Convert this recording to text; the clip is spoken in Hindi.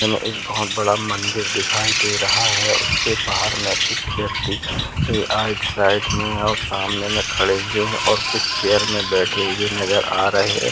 -- में एक बोहत बड़ा मंदिर दिखाई दे रहा है उस के बाहर में कुछ व्यक्ति आइड साइड में और सामने में खड़े हुए हैं और कुछ चेयर में बैठे हुए नज़र आ रहे है।